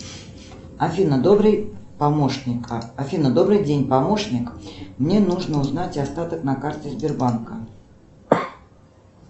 афина добрый помощник афина добрый день помощник мне нужно узнать остаток на карте сбербанка